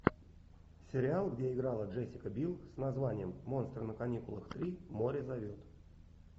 сериал где играла джессика бил с названием монстры на каникулах три море зовет